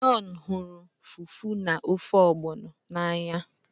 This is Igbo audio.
John huru Fufu na ofe Ogbono n'anya